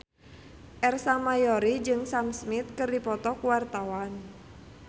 Ersa Mayori jeung Sam Smith keur dipoto ku wartawan